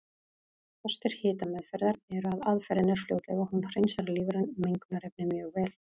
Kostir hitameðferðar eru að aðferðin er fljótleg og hún hreinsar lífræn mengunarefni mjög vel.